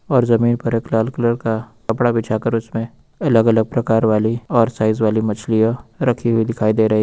और जमीन पर एक लाल कलर का कपड़ा बिछा कर उसमे अलग अलग प्रकार वाली और साइज वाली मछलियां रखी हुई दिखाई दे रही--